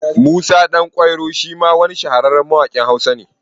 Musa Ɗan kwairo shima wani shahararren mawaƙin Hausa ne